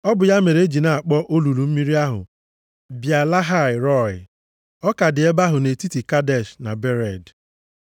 Ọ bụ ya mere e ji na-akpọ olulu mmiri ahụ, Bịa-Lahai-Rọị. + 16:14 Ma o bụ, Olulu Mmiri nke Onye ahụ dị ndụ na-ahụ m. Ọ ka dị ebe ahụ, nʼetiti Kadesh na Bered.